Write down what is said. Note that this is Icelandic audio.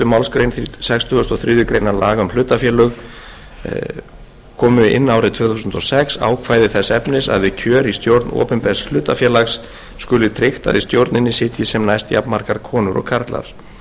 málsgrein sextugustu og þriðju grein laga um hlutafélög komu inn árið tvö þúsund og sex ákvæði þess efnis að við kjör í stjórn opinbers hlutafélags skuli tryggt að í stjórninni sitji sem næst jafnmargar konur og karlar með